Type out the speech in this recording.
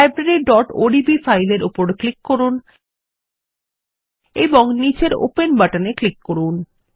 libraryওডিবি file এর উপর click করুন এবং নীচের ওপেন বাটনে ক্লিক করুন